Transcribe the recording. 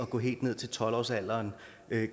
gå helt ned til tolv årsalderen